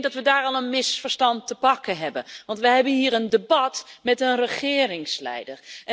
Ik denk dat we daar al een misverstand te pakken hebben, want wij hebben hier een debat met een regeringsleider.